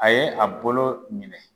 A ye a bolo minɛ